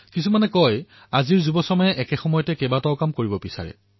কিছুমান লোকে কয় যে যুৱসমাজে এটা সময়তে বহুত কাম কৰিব বিচাৰে